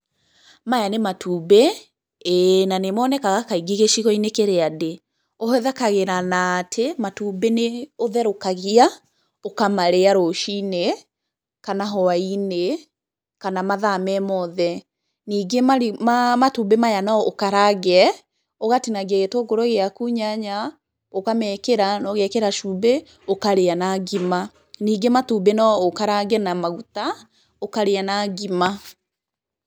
Maya nĩ matumbĩ, íĩ na nĩ monekaga kaingĩ gĩcigo-inĩ kĩrĩa ndĩ. Ũhũthĩkagĩra na atĩ matumbĩ nĩ ũtherũkagia, ũkamarĩa rũcini kana hwainĩ kana mathaa me mothe. Ningĩ matumbĩ maya no ũkarange ũgatinangia gĩtũngũrũ gĩaku, nyanya, ũkamekĩra na ũgekĩra cumbĩ ũkarĩa na ngima, nĩngĩ matumbĩ no ũkarange na maguta ũkarĩa na ngima.